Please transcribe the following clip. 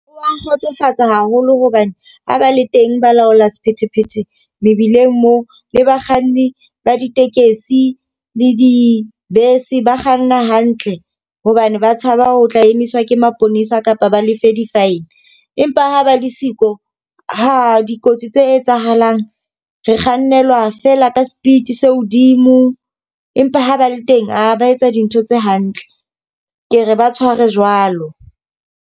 O a nkgotsofatsa haholo hobane ha ba le teng balaola sephethephethe mebileng moo, le bakganni ba ditekesi le dibese ba kganna hantle. Hobane ba tshaba ho tla emiswa ke maponesa kapa ba lefe di-fine. Empa ha ba le siko, ha! dikotsi tse etsahalang. Re kgannelwa fela ka speed se hodimo, empa ha ba le teng a ba etsa dintho tse hantle. Ke re ba tshware jwalo.